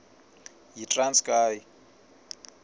yitranskayi